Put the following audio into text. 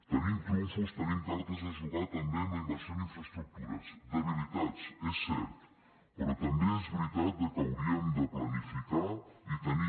tenim trumfos tenim cartes a jugar també amb la inversió en infraestructures debilitats és cert però també és veritat que hauríem de planificar i tenir